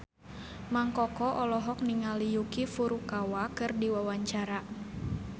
Mang Koko olohok ningali Yuki Furukawa keur diwawancara